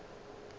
ke mang yo a ka